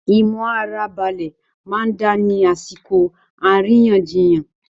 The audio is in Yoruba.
Imu ara balẹ máa n da ni àsìkò àríyànjiyàn.